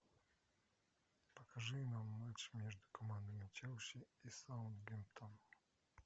покажи нам матч между командами челси и саутгемптон